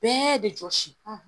Bɛɛ bɛ jɔsi